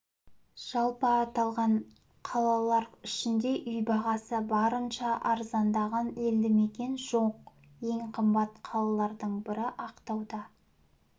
жалпы аты аталған қалалар ішінде үй бағасы барынша арзандағын елдімекен жоқ ең қымбат қалалардың бірі ақтауда